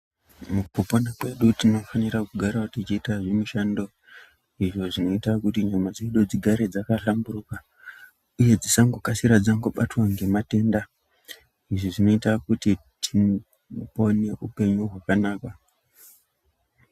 Mukupona kwedu tinofanira kugarawo tichiita, zvimishando izvo zvinoita kuti nyama dzedu dzigare dzakahlamburika uye dzisangokasira dzakabatwa ngezvitenda zvakawanda, izvi zvinoita kuti tipone hupenyu hwakanaka.